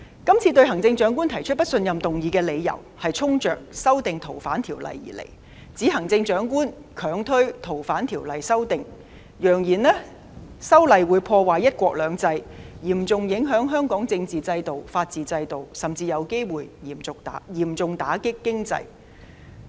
這次對行政長官提出不信任議案的理由是衝着《逃犯條例》而來，指行政長官強推《逃犯條例》的修訂，揚言修例會破壞"一國兩制"，嚴重影響香港的政治和法治制度，甚至有機會嚴重打擊經濟。